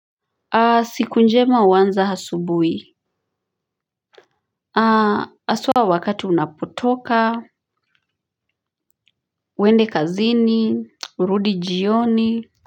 Siku njema uanza hasubui. Aswa wakati unapotoka. Wende kazini. Urudi jioni.